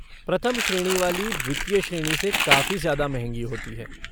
प्रथम श्रेणी वाली द्वितीय श्रेणी से काफ़ी ज़्यादा महंगी होती है।